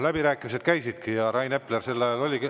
Läbirääkimised käisidki ja Rain Epler oli sel ajal …